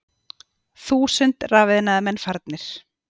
Þúsund rafiðnaðarmenn farnir